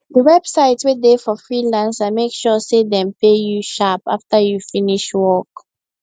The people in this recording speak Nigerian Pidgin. d website wey dey for freelancer make sure say dem pay you sharp after you finish work